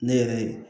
Ne yɛrɛ ye